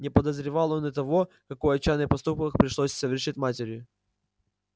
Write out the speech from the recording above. не подозревал он и того какой отчаянный поступок пришлось совершить матери